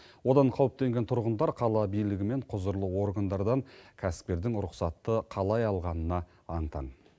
одан қауіптенген тұрғындар қала билігі мен құзырлы органдардан кәсіпкердің рұқсатты қалай алғанына аң таң